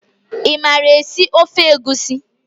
I maara esi ofe egusi?